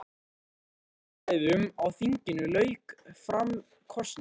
Þegar umræðum á þinginu lauk fór fram kosning.